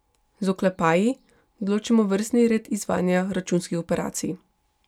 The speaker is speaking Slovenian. Z oklepaji določimo vrstni red izvajanja računskih operacij.